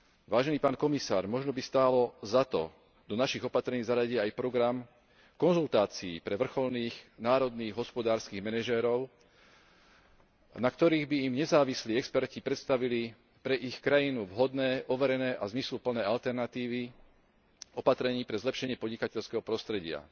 Vážený pán komisár, možno by stálo za to do našich opatrení zaradiť aj program konzultácií pre vrcholných, národných hospodárskych manažérov, na ktorých by im nezávislí experti predstavili pre ich krajinu vhodné, overené a zmysluplné alternatívy opatrení pre zlepšenie podnikateľského prostredia.